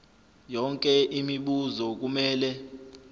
yonke imibuzo kumele